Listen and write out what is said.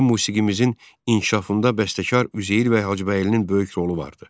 Milli musiqimizin inkişafında bəstəkar Üzeyir bəy Hacıbəylinin böyük rolu vardı.